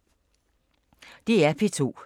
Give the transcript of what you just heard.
DR P2